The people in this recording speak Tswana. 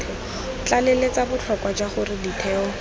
tlaleletsa botlhokwa jwa gore ditheo